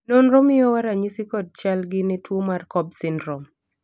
nonro miyowa ranyisi kod chal gi ne tuo mar cobb syndrome